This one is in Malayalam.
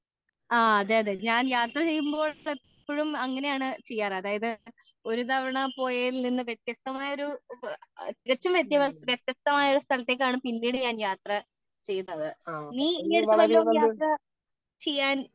ആ അതേ അതേ ഞാൻ യാത്ര ചെയ്യുമ്പോൾ എപ്പോഴും അങ്ങനെയാണ് ചെയ്യാറുള്ളത് അതായത് ഒരു തവണ പോയതിൽ നിന്നും വ്യത്യസ്തമായ ഒരു തികച്ചും വ്യത്യസ്തമായൊരു സ്ഥലത്തേക്കാണ് പിന്നീടു ഞാൻ യാത്ര ചെയ്യുന്നത് നീ ഈ അടുത്ത് വല്ലോം യാത്ര ചെയ്യാൻ